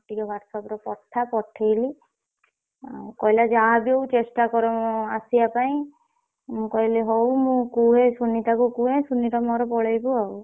ମତେ ଟିକେ WhatsApp ରେ ପଠା ପଠେଇଲି ଉଁ କହିଲା ଯାହାବି ହଉ ଚେଷ୍ଟା କର ଆସିବା ପାଇଁ ମୁଁ କହିଲି ହଉ ମୁଁ କୁହେ ସୁନିତାକୁ କୁହେ ସୁନିତା ମୋର ପଳେଇବୁ ଆଉ।